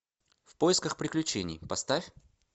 в поисках приключений поставь